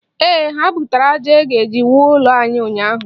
Ee, ha butere aja e ji ewu ụlọ ahụ ụnyaahụ.